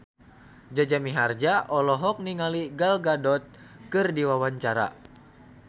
Jaja Mihardja olohok ningali Gal Gadot keur diwawancara